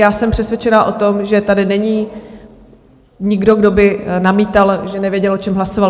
Já jsem přesvědčená o tom, že tady není nikdo, kdo by namítal, že nevěděl o čem hlasoval.